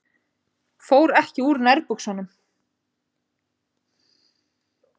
Fór ekki úr nærbuxunum.